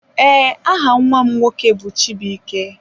Ee, aha nnwa m nwoke bụ chibuike.